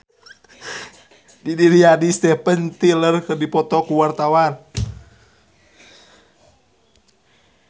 Didi Riyadi jeung Steven Tyler keur dipoto ku wartawan